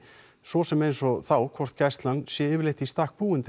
svo sem eins og þá hvort gæslan sé í stakk búin